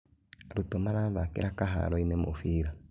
Arũto marathakĩra kĩharoinĩ mũbira